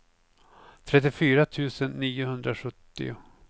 trettiofyra tusen niohundrasjuttio